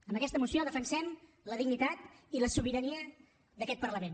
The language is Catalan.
amb aquesta moció defensem la dignitat i la sobirania d’aquest parlament